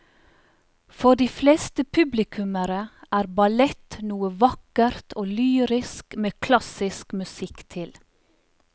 For de fleste publikummere er ballett noe vakkert og lyrisk med klassisk musikk til.